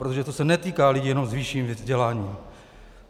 Protože to se netýká lidí jenom s vyšším vzděláním.